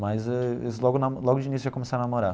Mas eles logo na logo de início já começaram a namorar.